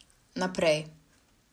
Naprej.